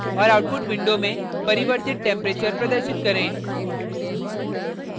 और output window में परिवर्तित टैम्परेचर प्रदर्शित करें